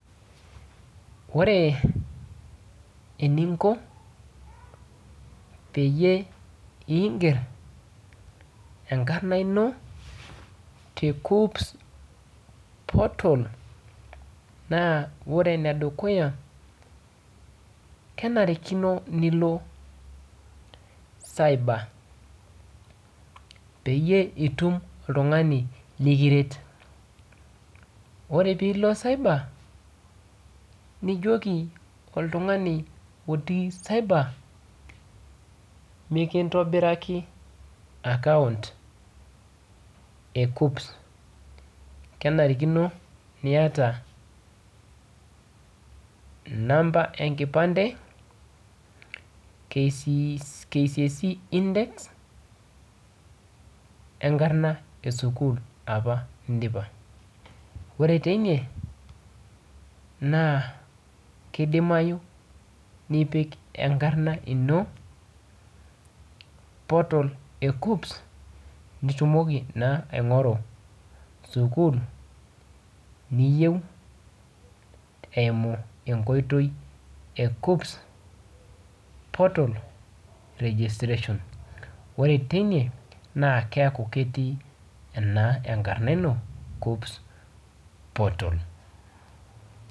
Ore eninko peyie iger enkarna ino te KUCCPS portal, naa ore enedukuya, kenarikino nilo cyber. Peyie itum oltung'ani likiret. Ore pilo cyber, nijoki oltung'ani otii cyber, mikintobiraki akaunt e KUCCPS. Kenarikino niata inamba enkipande, KCSE index, enkarna esukuul apa nidipa. Ore teine, naa kidimayu nipik enkarna ino, portal e KUCCPS, nitumoki naa aing'oru sukuul niyieu eimu enkoitoi e KUCCPS portal registration. Ore teine, naa keeku ketii naa enkarna ino KUCCPS portal.